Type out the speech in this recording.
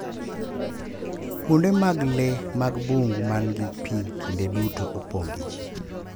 Kuonde mag lee mag bungu man gi pi kinde duto opong’ gi ji .